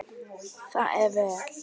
Það er vel.